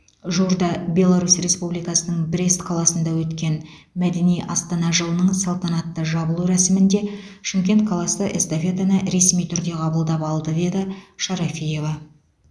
жуырда беларус республикасының брест қаласында өткен мәдени астана жылының салтанатты жабылу рәсімінде шымкент қаласы эстафетаны ресми түрде қабылдап алды деді шарафиева